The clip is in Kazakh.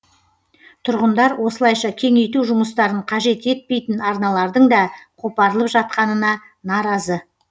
тұрғындар осылайша кеңейту жұмыстарын қажет етпейтін арналардың да қопарылып жатқанына наразы